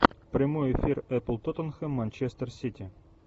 прямой эфир апл тоттенхэм манчестер сити